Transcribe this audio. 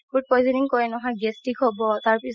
food poisoning কৰে নহয় gastric হ'ব তাৰ পিছত